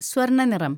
സ്വര്‍ണനിറം